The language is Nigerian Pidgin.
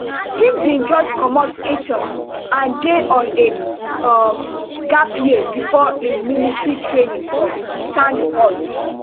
e bin just comot eton and dey on a um gap year bifor im military training for sandhurst